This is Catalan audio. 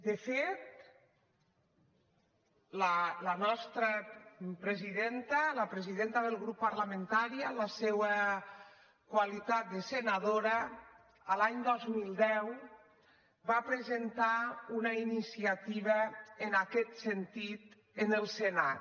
de fet la nostra presidenta la presidenta del grup parlamentari en la seua qualitat de senadora l’any dos mil deu va presentar una iniciativa en aquest sentit en el senat